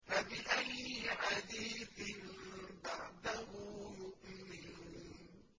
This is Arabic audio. فَبِأَيِّ حَدِيثٍ بَعْدَهُ يُؤْمِنُونَ